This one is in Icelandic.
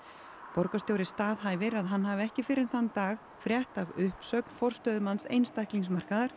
borgarstjóri staðhæfir að hann hafi ekki fyrr en þann dag frétt af uppsögn forstöðumanns